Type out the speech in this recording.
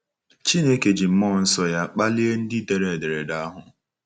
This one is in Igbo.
Chineke ji mmụọ nsọ ya kpalie ndị dere ederede ahụ.